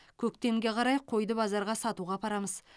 көктемге қарай қойды базарға сатуға апарамыз